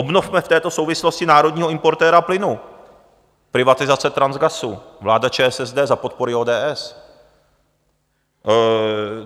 Obnovme v této souvislosti národního importéra plynu - privatizace Transgasu, vláda ČSSD za podpory ODS.